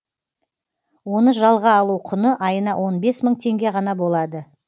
оны жалға алу құны айына он бес мың теңге ғана болады